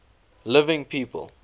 living people